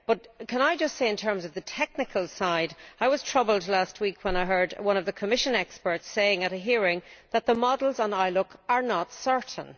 But can I just say, in terms of the technical side, that I was troubled last week when I heard one of the Commission experts say at a hearing that the models in ILUC are not certain.